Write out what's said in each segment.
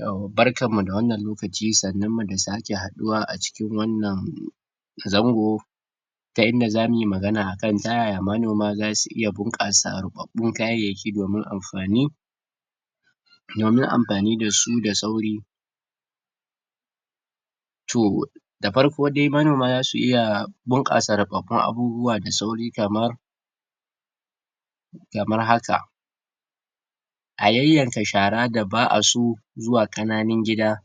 Yau, barkan mu da wannan lokaci, sannun mu da sake haduwa a cikin wannan zango ta inda za muyi magana a kai, ta yaya manoma za su iya bunkasa kayyayaki domin amfani domin amfani da su da sauri toh! da farko de manoma za su iya bunkasa abubuwa da sauri kaman kamar haka. A yayyanka shara da ba a so zuwa kananin gida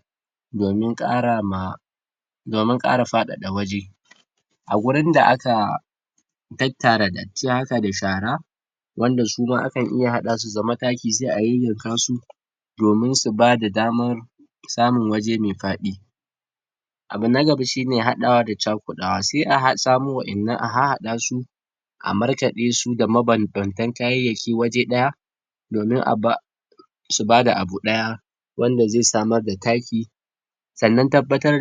domin kara ma domin kara fadada waje A gurin da aka tattara datti haka da shara wanda suma akan iya hada su zama taki se a yayyanka su domin su ba da damar samun waje me fadi. Abu na gaba shine hadawa da chakudawa se a samu wadannan, a hahada su a markade su da mabambantan kayyayaki waje daya, domin a ba su ba da abu daya wanda ze samar da taki Sannan tabbatar?]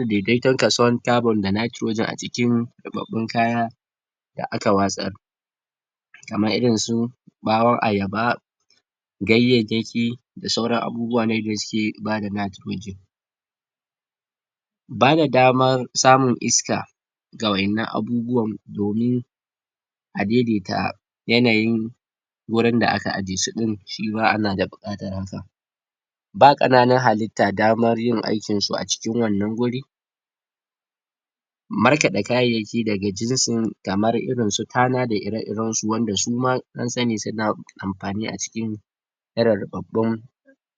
a cikin rubabun kaya da aka wasar kaman irin su bawan ayaba gayyeyeki da sauran abubuwa na gaskiye Bada daman samun iska ga wadannan abubuwan domin a daidaita yanayin wurin da aka ajiye su Ba kananan halita daman yin aikin su a cikin wannan guri markade kayyayaki daga jinsin kamar irin su tana da ire iren su wanda suma sun sani suna amfani a cikin irin rubabbun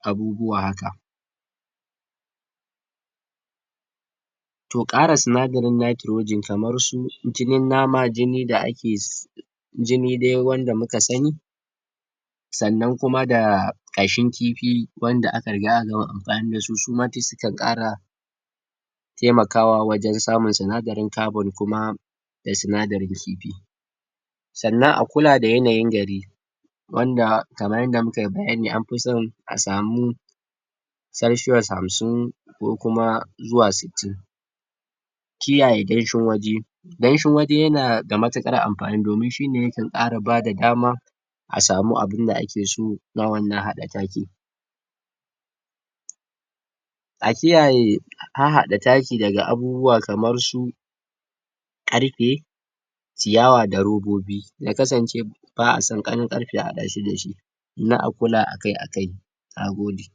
abubuwa haka, toh kara sunadarin kaman su jinin nama, jini da ake jini dai wanda muka sani sannan kuma da kashin kifi, banda aka riga aka gama amfani da su, toh suma su kan kara taimakawa wajen samun sunadarin carbon kuma na sunadarin kifi. Sannan a kula da yanayin gari wanda, kamar inda mukayi bayani an fi so a samu celcuis hamsin ko kuma zuwa sittin shi yana ta matukar amfani domin shine yake kara ba da dama a samu abun da ake so, na wannan hada taki a kiyaye hahada taki daga abubuwa kamar su karfe, ciyaw da robobi. Ya kasance ba a so karfe ya hada shi da shi na a kula akai akai